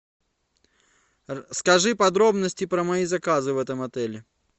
скажи подробности про мои заказы в этом отеле